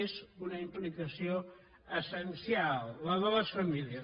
és una implicació essencial la de les famílies